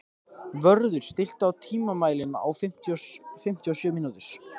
Vörður, stilltu tímamælinn á fimmtíu og sjö mínútur.